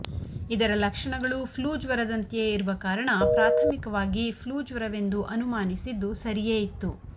ಇದರ ಲಕ್ಷಣಗಳು ಫ್ಲೂ ಜ್ವರದಂತೆಯೇ ಇರುವ ಕಾರಣ ಪ್ರಾಥಮಿಕವಾಗಿ ಫ್ಲೂ ಜ್ವರವೆಂದು ಅನುಮಾನಿಸಿದ್ದು ಸರಿಯೇ ಇತ್ತು